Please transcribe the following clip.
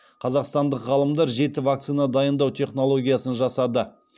қазақстандық ғалымдар жеті вакцина дайындау технологиясын жасады